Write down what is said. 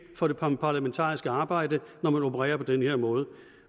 for det parlamentariske arbejde når man opererer på den her måde